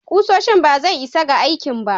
Kusoshi ba zai isa ga aikin ba.